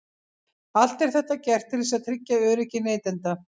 Allt er þetta gert til þess að tryggja öryggi neytenda.